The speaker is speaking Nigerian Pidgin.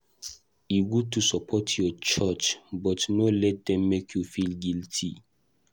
E good to support your church, but no let dem make you feel guilty.